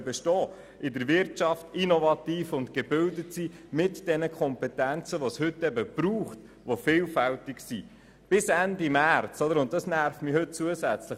Sie sollen in der Wirtschaft innovativ tätig sein und die vielfältigen Kompetenzen mitbringen, die es heute braucht.